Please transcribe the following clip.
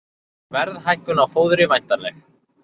Verðhækkun á fóðri væntanleg